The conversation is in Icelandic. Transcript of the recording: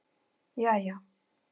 jæja